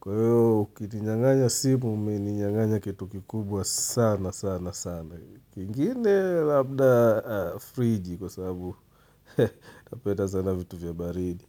Kwa hiyo, ukininyanganya simu, umeninyanganya kitu kikubwa sana sana sana. Kingine labda friji kwa sababu napenda sana vitu vya baridi.